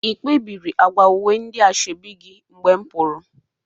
Ị kpebiri agwa uwe ndị asoebi gi mgbe m pụrụ?